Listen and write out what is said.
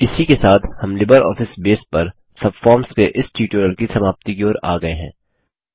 इसी के साथ हम लिबरऑफिस बेस पर सबफॉर्म्स के इस ट्यूटोरियल की समाप्ति की ओर आ गये हैं